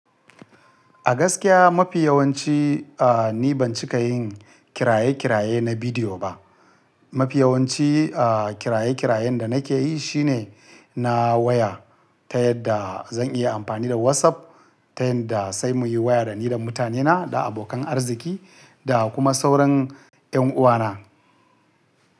A gaskiya mafi yawanci, a, ni ban cika yin kiraye-kiraye na bidiyo ba. Mafi yawanci, a, kiraye-kirayen da nake yi shine na waya ta yadda zan iya amfani da WhatsApp ta yadda sai muyi waya dani da mutanena, da abokan arziki da kuma sauran 'yan uwana.